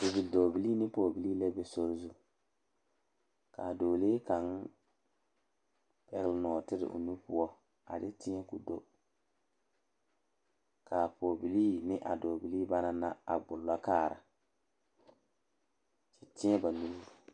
Bipɔɔbilii ane bidɔɔpilii la be sori zu kaa bidɔɔlee kaŋa pɛgele nɔɔtere o nu poɔ a de teɛ ko do kaa pɔɔbilii ne a pɔɔbilii ba naŋ na ŋmolo kaara kyɛ teɛ ba nuure